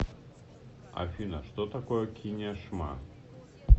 афина что такое кинешма